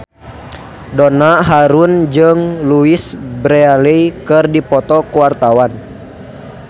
Donna Harun jeung Louise Brealey keur dipoto ku wartawan